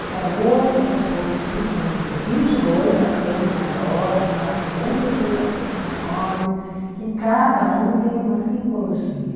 O tarô são compostos vin com por vinte e dois arcanos maiores, mais cinquenta e seis arcanos menores, que cada um tem uma simbologia.